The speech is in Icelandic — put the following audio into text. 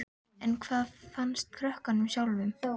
En hvað fannst krökkunum sjálfum?